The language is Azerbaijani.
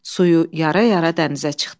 Suyu yara-yara dənizə çıxdı.